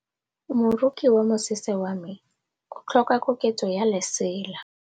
Moroki wa mosese wa me o tlhoka koketsô ya lesela.